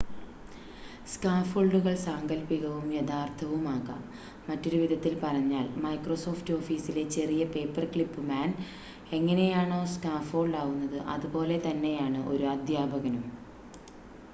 സ്കാഫൊൾഡുകൾ സാങ്കൽപ്പികവും യഥാർത്ഥവും ആകാം മറ്റൊരു വിധത്തിൽ പറഞ്ഞാൽ മൈക്രോസോഫ്റ്റ് ഓഫീസിലെ ചെറിയ പേപ്പർക്ലിപ്പ് മാൻ എങ്ങനെയാണോ സ്കാഫോൾഡ് ആവുന്നത് അതുപോലെ തന്നെയാണ് ഒരു അദ്ധ്യാപകനും